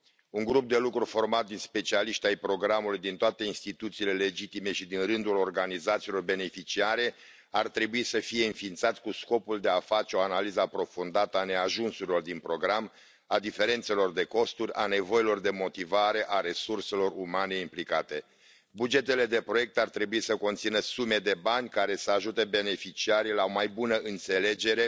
Un grup de lucru format din specialiști ai programului din toate instituțiile legitime și din rândul organizațiilor beneficiare ar trebui să fie înființat cu scopul de a face o analiză aprofundată a neajunsurilor din program, a diferențelor de costuri, a nevoilor de motivare, a resurselor umane implicate. Bugetele de proiect ar trebui să conțină sume de bani care să ajute beneficiarii la o mai bună înțelegere,